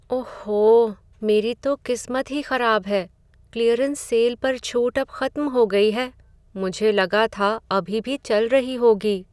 ओहो! मेरी तो किस्मत ही खराब है। क्लीयरेंस सेल पर छूट अब खत्म हो गई है। मुझे लगा था अभी भी चल रही होगी।